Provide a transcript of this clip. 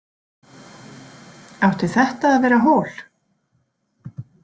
Átti þetta að vera hól?